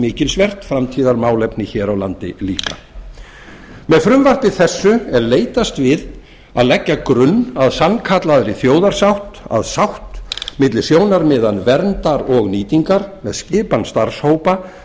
mikilsvert framtíðarmálefni hér á landi líka með frumvarpi þessu er leitast við að leggja grunn að sannkallaðri þjóðarsátt að sátt milli sjónarmiða verndar og nýtingar með skipan starfshópa